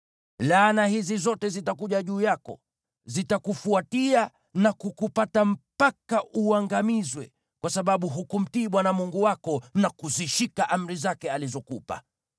Laana hizi zote zitakuja juu yako. Zitakufuatia na kukupata mpaka uangamizwe, kwa sababu hukumtii Bwana Mungu wako, na kuzishika amri zake na maagizo yake aliyokupa.